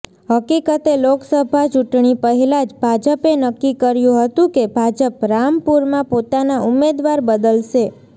હકિકતે લોકસભા ચૂંટણી પહેલા જ ભાજપે નક્કી કર્યુ હતું કે ભાજપ રામપુરમાં પોતાનાં ઉમેદવાર બદલશે